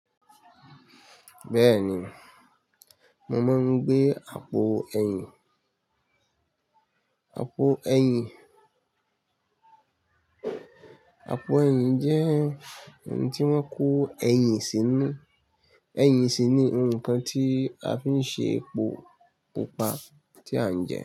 Bẹ́ẹ̀ni, mo máa ń gbé àpò ẹ̀yìn. Àpò ẹ̀yìn, àpò ẹ̀yìn jẹ́ ohun tí wọ́n kó ẹ̀yìn sínú. Ẹ̀yìn sì ni ohun kan tí a fi ń ṣe epo pupa tí à ń jẹ.